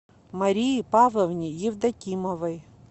марии павловне евдокимовой